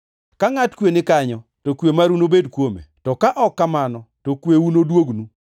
Ka ngʼat kwe ni kanyo to kwe maru nobed kuome; to ka ok kamano, to kweuno noduognu.